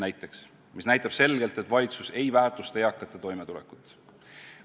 See näitab selgelt, et valitsus ei väärtusta eakate toimetulekut.